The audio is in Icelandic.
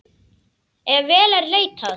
Ef vel er leitað.